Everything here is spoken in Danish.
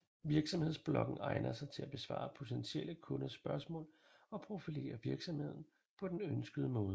Virksomhedsbloggen egner sig til at besvare potentielle kunders spørgsmål og profilere virksomheden på den ønskede måde